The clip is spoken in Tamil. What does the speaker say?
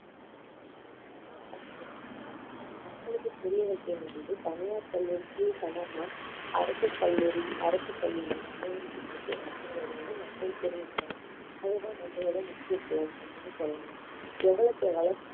மக்களுக்கு புரிய வைக்க வேண்டியது தனியார் பள்ளிகளுக்கு சமமா அரசு கல்லூரி, அரசு பள்ள இயங்கிட்டு இருக்கு அப்படிங்கறத வந்து மக்கள் தெரிஞ்சுக்கணும் அதுதான் நம்மளோட முக்கிய goal அப்படின்னு சொல்லலாம் எவ்வளவுக்கு எவ்வளவு